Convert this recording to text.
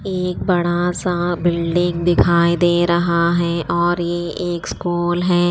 एक बड़ा सा बिल्डिंग दिखाई दी रहा हैं और ये एक स्कूल हैं।